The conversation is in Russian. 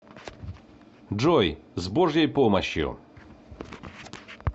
джой с божьей помощью